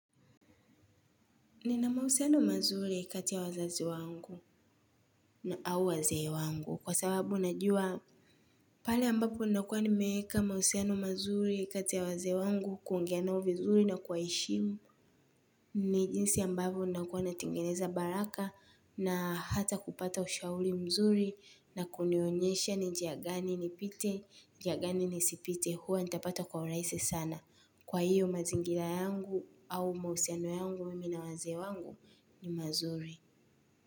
Nina mahusiano mazuri kati ya wazazi wangu au wazee wangu kwa sababu najua pale ambapo unakua nimeeka mahusiano mazuri kati ya wazee wangu kuongea nao vizuri na kuwaheshimu ni jinsi ambavyo nakuwa natengeneza baraka na hata kupata ushauri mzuri na kunionyesha ni njia gani nipite, njia gani nisipite huwa nitapata kwa urahisi sana. Kwa hiyo mazingira yangu au mahusiano yangu mimi na wazee wangu ni mzuri.